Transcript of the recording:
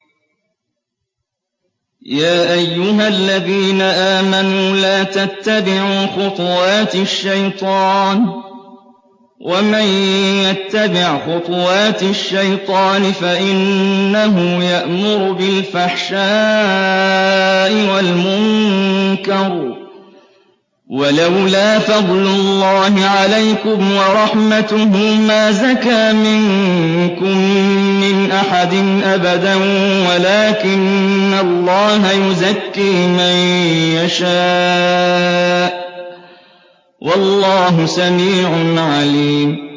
۞ يَا أَيُّهَا الَّذِينَ آمَنُوا لَا تَتَّبِعُوا خُطُوَاتِ الشَّيْطَانِ ۚ وَمَن يَتَّبِعْ خُطُوَاتِ الشَّيْطَانِ فَإِنَّهُ يَأْمُرُ بِالْفَحْشَاءِ وَالْمُنكَرِ ۚ وَلَوْلَا فَضْلُ اللَّهِ عَلَيْكُمْ وَرَحْمَتُهُ مَا زَكَىٰ مِنكُم مِّنْ أَحَدٍ أَبَدًا وَلَٰكِنَّ اللَّهَ يُزَكِّي مَن يَشَاءُ ۗ وَاللَّهُ سَمِيعٌ عَلِيمٌ